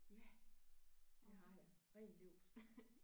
Ja det har jeg ren leverpostej